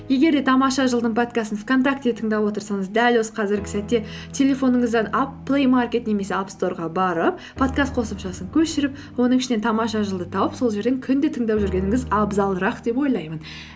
егер де тамаша жыл дың подкастын вконтакте тыңдап отырсаңыз дәл осы қазіргі сәтте телефоныңыздан плеймаркет немесе апсторға барып подкаст қосымшасын көшіріп оның ішінен тамаша жыл ды тауып сол жерден күнде тыңдап жүргеніңіз абзалырақ деп ойлаймын